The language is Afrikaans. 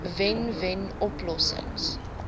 wen wen oplossings